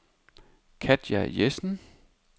Katja Jessen